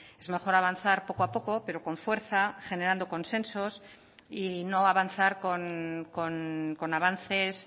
es mejor avanzar poco a poco pero con fuerza generando consensos y no avanzar con avances